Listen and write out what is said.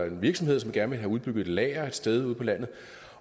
en virksomhed som gerne ville have udbygget et lager et sted ude på landet